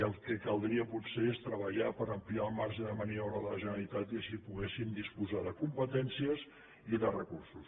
el caldria potser és treballar per ampliar el marge de maniobra de la generalitat i que així poguéssim disposar de competències i de recursos